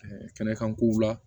kɛnɛkankow la